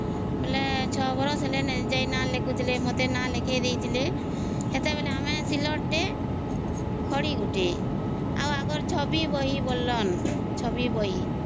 ହଁ ବୋଲେ ଛ ବରଷ ହେଲେ ଯାଇକି ନା ଲେଖୁଥିଲେ ମତେ ନା ଲେଖେଇଦେଇଥିଲେ ସେତେବେଳେ ଆମେ ସିଲଟ ଟେ ଆଉ ଖଡ଼ି ଗୋଟେ ଆଉ ଆଗରୁ ଛବି ବହି ବୋଲେନ ହଁ ଛବି ବହି